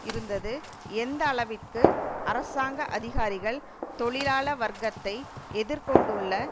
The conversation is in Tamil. இருந்தது எந்த அளவிற்கு அரசாங்க அதிகாரிகள் தொழிலாள வர்ககத்தை எதிர் கொண்டுள்ள